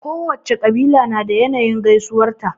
Kowacce ƙabila na da yanayin gaisuwar ta.